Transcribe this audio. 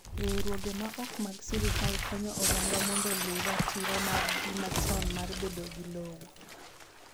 Riwruoge ma ok mag sirkal konyo oganda mondo luw ratiro margi machon mar bedo gi lowo.